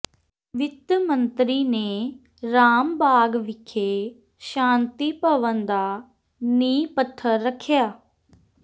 ਵਿੱਤ ਮੰਤਰੀ ਨੇ ਰਾਮਬਾਗ ਵਿਖੇ ਸ਼ਾਂਤੀ ਭਵਨ ਦਾ ਨੀਂਹ ਪੱਥਰ ਰੱਖਿਆ